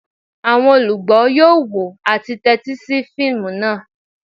Àwọn olugbo yoo wo ati tẹtisi fiimu naa.